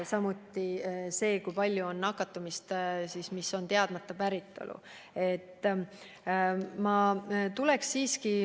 Ka on oluline, kui palju on nakatumisi, mis on teadmata päritolu.